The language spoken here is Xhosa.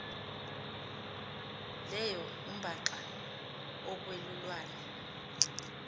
leyo umbaxa okwelulwane